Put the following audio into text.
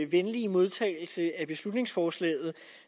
venlige modtagelse af beslutningsforslaget